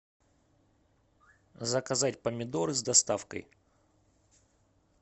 заказать помидоры с доставкой